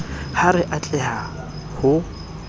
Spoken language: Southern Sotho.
ha re a tleha ho